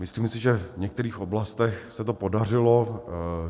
Myslím si, že v některých oblastech se to podařilo.